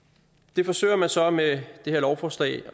det forsøger man så med det her lovforslag